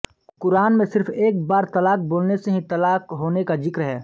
कुरान में सिर्फ एक बार तलाक़ बोलने से ही तलाक़ होने का जिक्र है